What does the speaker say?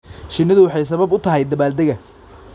Shinnidu waxay sabab u tahay dabaaldega.